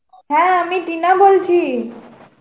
হ্যাঁ আমি টিনা বলছি.